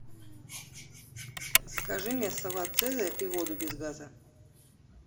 закажи мне салат цезарь и воду без газа